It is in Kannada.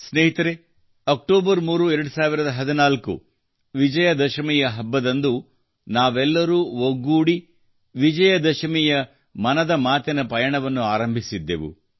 ಸ್ನೇಹಿತರೇ ಅಕ್ಟೋಬರ್ 3 2014 ವಿಜಯ ದಶಮಿಯ ಹಬ್ಬದಂದು ನಾವೆಲ್ಲರೂ ಒಗ್ಗೂಡಿ ವಿಜಯ ದಶಮಿಯ ದಿನದಂದು ಮನದ ಮಾತಿನ ಪಯಣವನ್ನು ಆರಂಭಿಸಿದ್ದೆವು